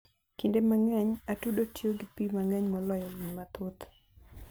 Kinde mang'eny, atudo tiyo gi pi mang'eny moloyo winy mathoth.